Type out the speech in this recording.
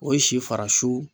O ye si farasu